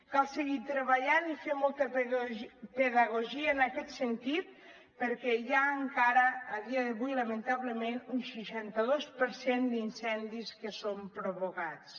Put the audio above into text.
cal seguir treballant i fer molta pedagogia en aquest sentit perquè hi ha encara a dia d’avui lamentablement un seixanta dos per cent d’incendis que són provocats